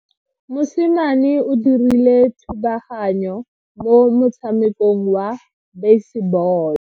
Mosimane o dirile thubaganyo mo motshamekong wa basebolo.